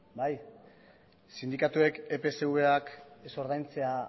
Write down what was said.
bai sindikatuek epsvak ez ordaintzea